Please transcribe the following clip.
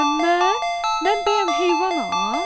Mən? Mən bəyəm heyvanam?